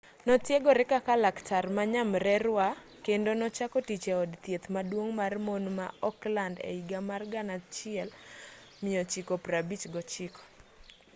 notiegore kaka laktar ma nyamrerwa kendo nochako tich e od thieth maduong' mar mon ma auckland e higa mar 1959